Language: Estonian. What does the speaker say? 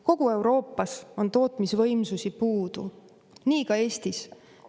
Kogu Euroopas on tootmisvõimsusi puudu, nii ka Eestis.